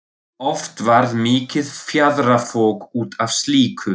Oft varð mikið fjaðrafok út af slíku.